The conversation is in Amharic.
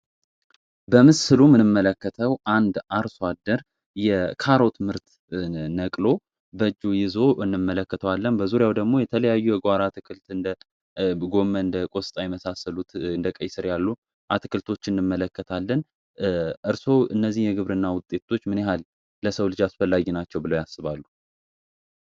በምስሉ ምንመለከተው አንድ አርሷአደር የካሮት ምርት ነቅሎ በጁ ይዞ እንመለከተዋለን። በዙሪያው ደግሞ የተለያዩ የጓር አትክልት እንደ ጎመ እንደ ቆስጣ መሳሰሉት እንደቀይሥር ያሉ አትክልቶች እንመለከታለን። እርሶ እነዚህ የግብር እና ውጤቶች ምንያህል ለሰው ልጅ አስፈላጊ ናቸው ብለው ያስባሉ?